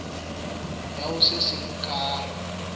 ya ho se seng ka